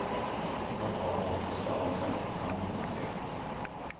Pappa har varit i stan i dag och tanterna i går.